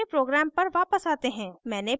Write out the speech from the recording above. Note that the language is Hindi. अपने program पर वापस आते हैं